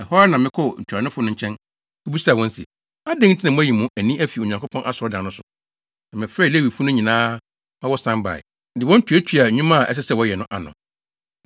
Ɛhɔ ara na mekɔɔ ntuanofo no nkyɛn, kobisaa wɔn se, “Adɛn nti na moayi mo ani afi Onyankopɔn Asɔredan no so?” Na mefrɛɛ Lewifo no nyinaa ma wɔsan bae, de wɔn tuatuaa nnwuma a ɛsɛ sɛ wɔyɛ ano.